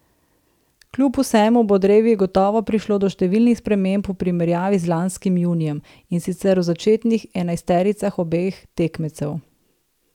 Kljub vsemu bo drevi gotovo prišlo do številnih sprememb v primerjavi z lanskim junijem, in sicer v začetnih enajstericah obeh tekmecev.